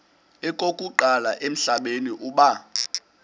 okokuqala emhlabeni uba